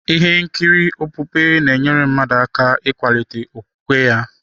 Ihe nkiri okpukpe na-enyere mmadụ aka iwulite okwukwe ya.